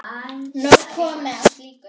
Nóg komið af slíku.